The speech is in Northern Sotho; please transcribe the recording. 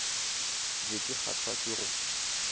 be ke kgahlwa ke go